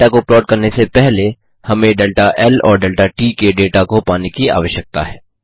data को plot करने से पहले हमें डेल्टा ल और डेल्टा ट के डेटा को पाने की आवश्यकता है